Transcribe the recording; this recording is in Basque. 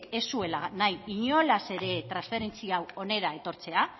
ez zuela nahi inolaz ere transferentzia hau hona etortzea